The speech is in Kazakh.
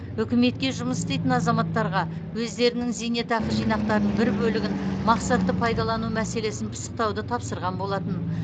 үкіметке жұмыс істейтін азаматтарға өздерінің зейнетақы жинақтарының бір бөлігін мақсатты пайдалану мәселесін пысықтауды тапсырған болатын